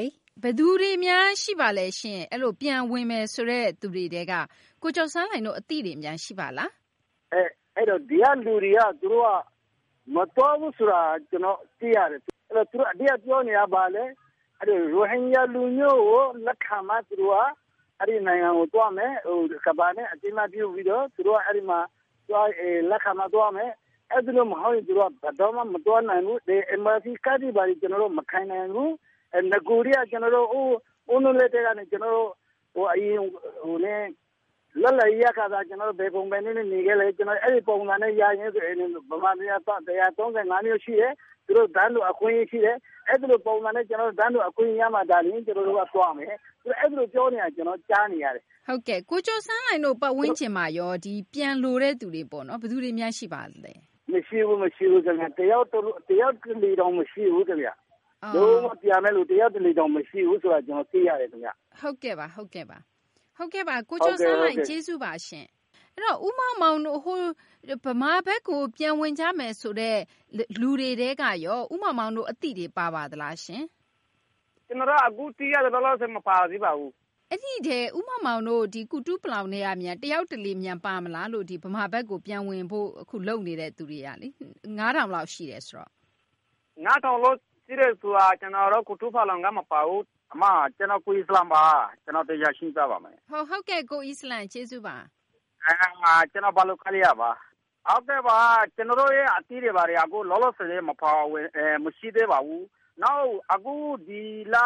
ယ်သူတွေများရှိပါသလဲရှင့် အဲလိုပြန်ဝင်မယ်ဆိုတဲ့ သူတွေထဲက ကိုကျော်စန်းလှိုင်တို့အသိတွေများရှိပါသလား။ ဒီကလူတွေက မသွားဘူးဆိုတာ သိရတယ်၊ အဓိကပြောနေတာက ဘာလဲဆိုတော့ ရိုဟင်ဂျာလူမျိုးကိုလက်ခံမှ အဲဒီနိုင်ငံကိုသွားမယ်။ ကမ္ဘာနဲ့ အသိအမှတ်ပြုပြီး လက်ခံမှ သွားမယ်။ အဲဒီလိုမဟုတ်ရင် ဘယ်လိုမှ မသွားနိုင်ဘူး။ ဒီ NVC ကဒ်တွေ ကျနော်တို့မကိုင်နိုင်ဘူး အရင်ကတည်းက လွတ်လပ်ရေးရခါစ ဘယ်လိုနေခဲ့သလဲ အဲလိုပုံစံနဲ့ ရမယ်ဆိုရင် မြန်မာပြည်မှာ တိုင်းရင်းသား ၁၃၅ မျိုးရှိတယ် တန်းတူအခွင့်အရေးရှိတယ်။ အဲလိုပုံစံနဲ့ တန်းတူအခွင့်အရေးရမှ ကျနော်တို့သွားမယ် ။ အဲလိုပြောနေတာ ကျနော်ကြားနေရတယ်။ ဟုတ်ကဲ့။ ကိုကျော်စန်းလှိုင်တို့ပတ်ဝန်းကျင်မှာရော ပြန်လိုတဲ့သူတွေ ဘယ်သူတွေများရှိပါသလဲ။ မရှိဘူး တယောက်တလေတောင် မရှိဘူး။ လုံးဝပြန်မယ့်လူ မရှိဘူးဆိုတာ ကျနော်သိရတယ်။ ဟုတ်ကဲ့ ကိုကျော်စန်းလှိုင်ကျေးဇူးပါရှင့်။ ဦးမောင်မောင်တို့ မြန်မာပြည်ဘက်ကို ပြန်ဝင်ကြမယ်ဆိုတဲ့ လူတွေထဲကရော ဦးမောင်မောင်အသိတွေများပါသလား။ ကျနော်တို့ အခုသိရသလောက်ဆိုရင် မပါသေးပါဘူး။ ဦးမောင်မောင်တို့ ကုတုပလောင်ထဲက တယောက်တလေ များပါမလား မြန်မာပြည်ဘက်ကို ပြန်ဝင်ဖို့ လုပ်နေတဲ့အထဲက ၅၀၀၀ လောက်ရှိတယ်ဆိုတော့။ ၅၀၀၀ လောက်ရှိတယ်ဆိုတာ ကျနော်တို့ ကုတုပလောင်က မပါဘူး။ ကျနော် ကိုအီစလံပါ ။ ကျနော်သေချာရှင်းပြပါမယ်။ ဟုတ်ကဲ့ ကိုအီစလံ ကျေးဇူးပါ။ ကျနော် ဘာလုခါလီ ဒုက္ခသည်စခန်းကပါ။ ကျနော်တို့ အသိတွေက လောလောဆည်မပါဘူး မရှိသေးပါဘူး။ နောက် နိုဝင်ဘာ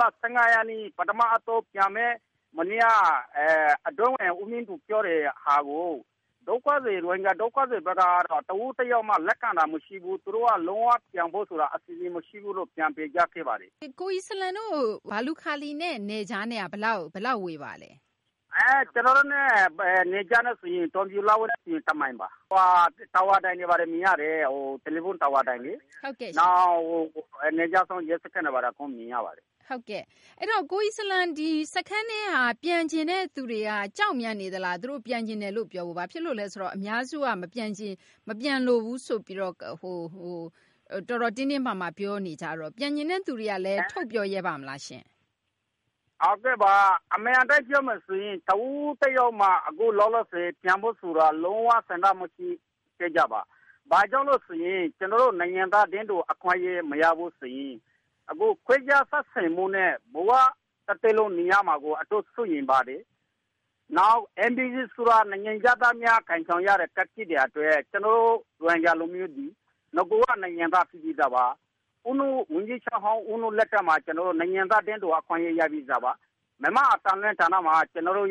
လ ၁၅ ရက်နေ့ ပထမအသုတ်ပြန်မယ့် မနေ့က အတွင်းဝန် ဦးမြင့်သူပြောတာကို ရိုဟင်ဂျာတွေကတော့ တဦးတယောက်မှ လက်ခံတာမရှိဘူး သူတို့က လုံးဝပြန်ဖို့ အစီစဉ်မရှိဘူးလို့ တင်ပြခဲ့ပါတယ်။ ကိုအီစလံတို့ ဘာလုခါလီနဲ့ နယ်ခြားနဲ့က ဘယ်လောက်ဝေးပါသလဲ။ ကျနေ်ာတို့နဲ့ နယ်ခြား တောင်ပြိုလက်ဝဲဆိုရင် ၁ မိုင်ပါ။ တယ်လီဖုန်းတာဝါတိုင်တွေ မြင်ရတယ်။ နောက်နယ်ခြားစောင့် ရဲစခန်းတွေအကုန်မြင်ရပါတယ်။ ကိုအီစလံတို့ စခန်းထဲက ပြန်ချင်သူတွေက ကြောက်နေသလား၊ သူတို့ပြန်ချင်တယ်လို့ ပြောဖို့။ ဘာဖြစ်လို့လဲဆိုတော့ အများစုက မပြန်လိုဘူးဆိုပြီးတော့ တော်တော်တင်းတင်းမာမာပြောနေကြတော့ ပြန်ချင်သူတွေက ထုတ်ပြောပါမလားရှင့်။ ဟုတ်ကဲ့ အမှန်အတိုင်းပြောမယ်ဆိုရင် တဦးတယောက်မှ လောလောဆည် ပြန်ဖု့ိဆိုတာ လုံးဝဆန္ဒမရှိပါဘူး။ ဘာကြောင့်လဲဆိုရင် ကျနော်တို့နိုင်ငံသား တန်းတူအခွင့်အရေးမရဘူးဆိုရင် ခွဲခြားဆက်ဆံမှုနဲ့ တသက်လုံးနေရမှာကို စိုးရိမ်ပါတယ်။ NVC ဆိုတာ နိုင်ငံခြားသားများကိုင်ဆောင်ရတဲ့ ကဒ်ဖြစ်နေတာအတွက် ကျနော်တို့ ရိုဟင်ဂျာတွေက နဂိုက နိုင်ငံသားဖြစ်ပြီးသားပါ။ ဝန်ကြီးချုပ်ဟောင် ဦးနုလက်ထက်မှာ ကျနော်တို့ နိုင်ငံသားတန်းတူအခွင့်အရေးရပြီးသားပါ။ မြန်မာ့အသံလွှင့်ဌာနမှာ ကျနော်